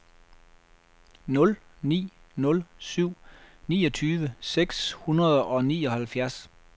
nul ni nul syv niogtyve seks hundrede og nioghalvfjerds